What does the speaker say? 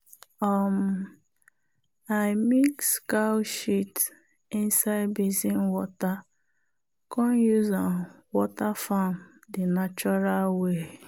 um i mix cow shit inside basin water come use am water farm di natural way.